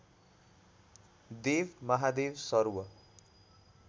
देव Mahadev सर्व